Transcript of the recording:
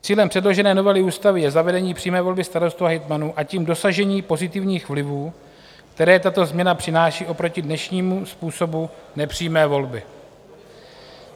Cílem předložené novely ústavy je zavedení přímé volby starostů a hejtmanů, a tím dosažení pozitivních vlivů, které tato změna přináší oproti dnešnímu způsobu nepřímé volby.